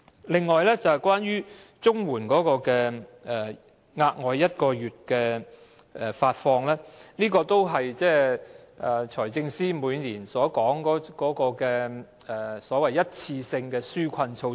另外，關於發放額外1個月綜援金，這是財政司司長每年所說的一次性紓困措施。